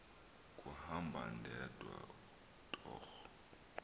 kuhamba ndedwa torho